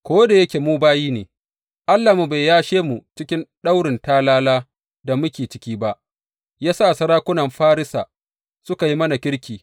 Ko da yake mu bayi ne, Allahnmu bai yashe mu cikin daurin talala da muke ciki ba, ya sa sarakunan Farisa suka yi mana kirki.